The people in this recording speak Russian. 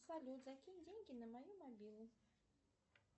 салют закинь деньги на мою мобилу